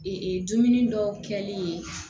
Ee dumuni dɔw kɛli ye